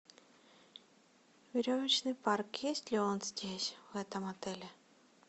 веревочный парк есть ли он здесь в этом отеле